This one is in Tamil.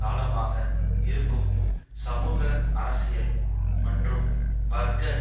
காலமாக இருக்கும் சமூக அரசியல் மற்றும் வர்க்க